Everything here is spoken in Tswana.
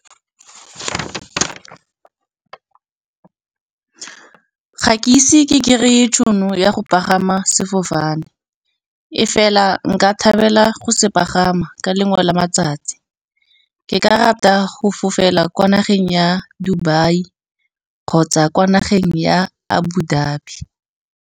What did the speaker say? Ga ke ise ke kry-e tšhono ya go pagama sefofane, e fela nka thabela go se pagama ka lengwe la matsatsi. Ke ka rata go fofela kwa nageng ya Dubai kgotsa kwa nageng ya Abudabi.